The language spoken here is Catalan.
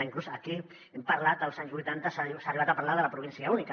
inclús aquí hem parlat que als anys vuitanta s’ha arribat a parlar de la província única